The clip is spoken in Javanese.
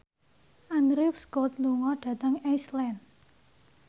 Andrew Scott lunga dhateng Iceland